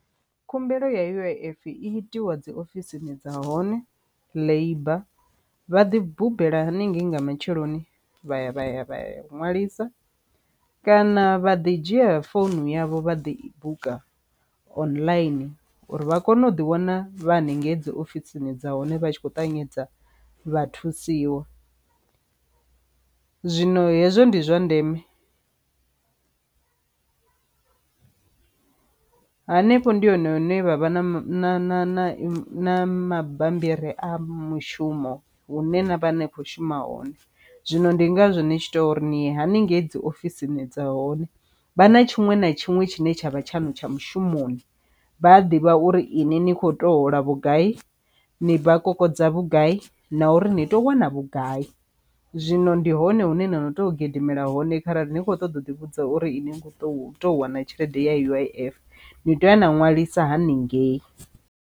Khumbelo ya U_I_F i itiwa dzi ofisini dza hone labour, vha ḓi bammbela haningei nga matsheloni vha ya vha ya vha ya ṅwalisa kana vha ḓi dzhia founu yavho vha ḓi buka online uri vha kone u ḓi wana vha haningei dzi ofisini dza hone vha tshi kho ṱavhanyedza vha thusiwa. Zwino hezwo ndi zwa ndeme hanefho ndi hone hune vha vha na na na mabambiri a mushumo hune na vha ni kho shuma hone. Zwino ndi ngazwo ni tshi tea uri ni ye haningei dzi ofisini dza hone vha na tshiṅwe na tshiṅwe tshine tshavha tshaṅu tsha mushumoni, vha a ḓivha uri ine ni kho tea hola vhugai ni vha kokodza vhugai na uri ni tea u wana vhugai, zwino ndi hone hune na no tea u gidimela hone kharali ni kho ṱoḓa u ḓi vhudza uri ine kho to to wana tshelede ya U_I_F ni tea ya na ṅwalisa haningei.